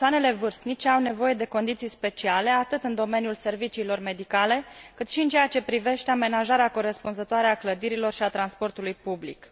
Persoanele vârstnice au nevoie de condiții speciale, atât în domeniul serviciilor medicale, cât și în ceea ce privește amenajarea corespunzătoare a clădirilor și a transportului public.